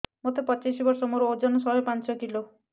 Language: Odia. ମୋତେ ପଚିଶି ବର୍ଷ ମୋର ଓଜନ ଶହେ ପାଞ୍ଚ କିଲୋ